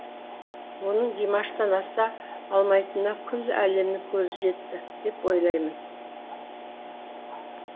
оның димаштан аса алмайтынына күллі әлемнің көзі жетті деп ойлаймын